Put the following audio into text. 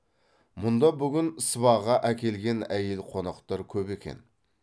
мұнда бүгін сыбаға әкелген әйел қонақтар көп екен